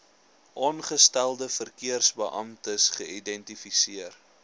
aangestelde verkeersbeamptes geïdentifiseer